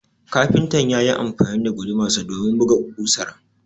kafintan yayi amfani da gudumarsa domin buga kausar